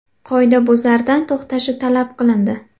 Qoidabuzardan to‘xtashi talab qilindi.